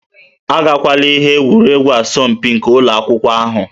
Agakwala ihe egwuregwu asọmpi nke ụlọ akwụkwọ ahụ